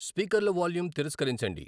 స్పీకర్ల volume తిరస్కరించండి